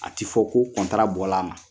A ti fɔ ko bɔla ma.